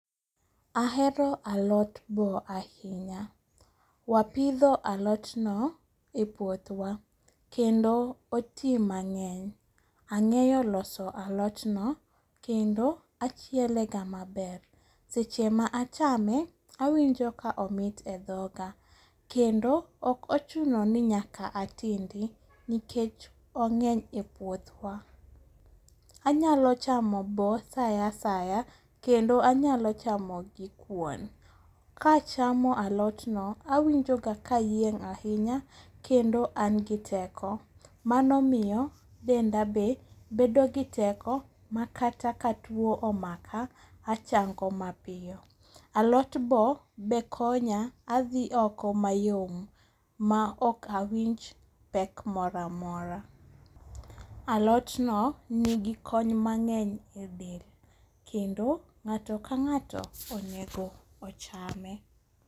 Ahero alot bo ahinya. Wapidho alotno e puothwa kendo oti mang'eny. Ang'eyo loso alotno kendo achielega maber. Seche ma achame awinjo ka omit e dhoga kendo ok ochunoni nyaka atindi nikech ong'eny e puothwa. Anyalo chamo bo saa asaya kendo anyalo chamo gi kuon. Kachamo alotno awinjoga kayieng' ahinya kendo an gi teko, mano miyo denda be bedogi teko ma kata ka tuo omaka achango mapiyo. Alot bo be konya adhi oko mayom, maok awinj pek moramora. Alotno nigi kony mang'eny e del kendo nga'to ka ng'ato onego ochame.